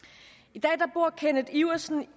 i dag bor kenneth iversen